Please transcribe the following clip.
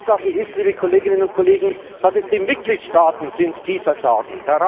Tatsache ist, liebe Kolleginnen und Kollegen, dass es die Mitgliedstaaten sind, die versagen.